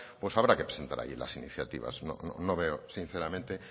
pues habrá que presentar allí las iniciativas no veo sinceramente